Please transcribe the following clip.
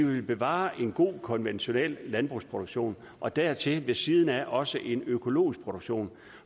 vi vil bevare en god konventionel landbrugsproduktion og dertil ved siden af også en økologisk produktion